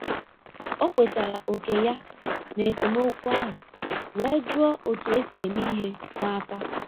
O kwetara òkè ya na esemokwu ahụ wee jụọ otu esi eme ihe n'aka.